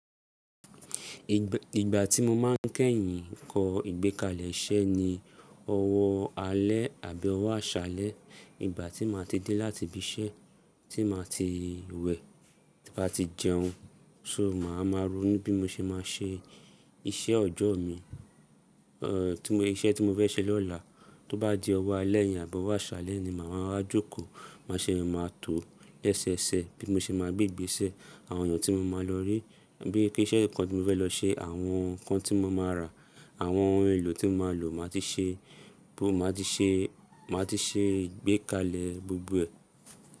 Ìgbà tí mo máa ń kẹ́yìn kọ ìgbékalẹ̀ iṣẹ́ ni ọwọ́ alẹ́ àbí ọwọ́ àṣálẹ́. Ìgbà tí màá ti dé láti ibi iṣẹ́ tí màá ti wẹ̀, bá ti jẹun, só máa ma ro nu bí mó ṣe máa ṣe iṣẹ́ ojọ́ mi, eeh iṣẹ́ tí mó fẹ́ ṣe lọ́la. Tó bá di ọwọ́ alẹ́ yẹn àbí ọwọ́ àṣálẹ́ ni màá ma wá jókòó, má ṣe máa tó le ṣẹẹṣẹ bí mó ṣe máa gbé ìgbésẹ́. Àwọn èeyàn tí mo máa lọ rí, bí i kí iṣẹ́ nǹkan tí mó fẹ́ lọ ṣe, àwọn nǹkan tí mo máa ra, àwọn ohun èlò tí mó máa lò, màá ti ṣe, mó máa ti ṣe, máa ti ṣe ìgbékalẹ̀ gbogbo ẹ.